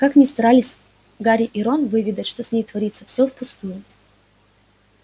как ни старались гарри и рон выведать что с ней творится всё впустую